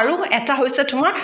আৰু এটা হৈছে তোমাৰ